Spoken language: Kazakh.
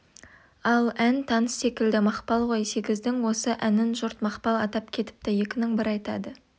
ал ән таныс секілді мақпал ғой сегіздің осы әнін жұрт мақпал атап кетіпті екінің бірі айтады